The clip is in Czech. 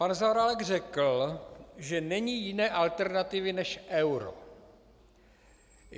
Pan Zaorálek řekl, že není jiné alternativy než euro.